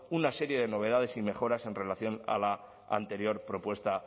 una serie de novedades y mejoras en relación a la anterior propuesta